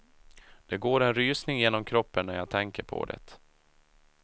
Det går en rysning genom kroppen när jag tänker på det.